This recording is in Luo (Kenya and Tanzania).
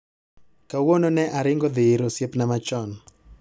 Kawuono ne aringo adhi ir osiepna machon